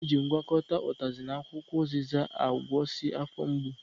A na-eji ngwakọta utazi na akwukwo uziza akwụsị afọ mgbu